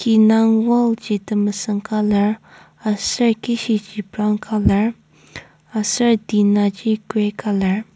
ki indang wall ji temesüng colour aser kishiji brown colour aser tina ji grey colour .